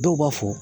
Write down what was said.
Dɔw b'a fɔ